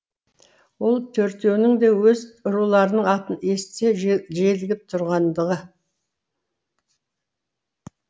ол төртеуінің де өз руларының атын естісе желігіп тұрғандығы